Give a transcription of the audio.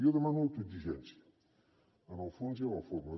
jo demano autoexigència en el fons i en la forma